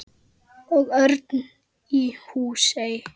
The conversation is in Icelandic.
Og Örn í Húsey.